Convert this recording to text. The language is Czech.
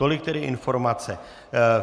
Tolik tedy informace.